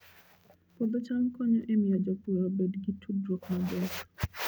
Puodho cham konyo e miyo jopur obed gi tudruok maber